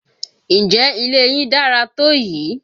Ǹjẹ́ ilé yín dára tó yìí?